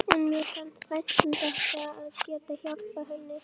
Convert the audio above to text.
En mér fannst vænt um þetta, að geta hjálpað henni.